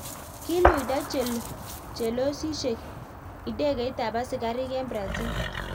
kiluido chelososiek indegeitab askarik eng Brazil